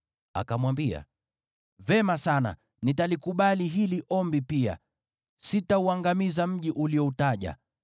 Akamwambia, “Vema sana, nitalikubali hili ombi pia, sitauangamiza mji ulioutaja.